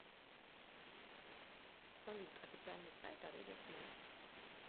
салют официальный сайт орудия смерти